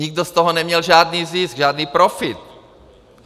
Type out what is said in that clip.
Nikdo z toho neměl žádný zisk, žádný profit.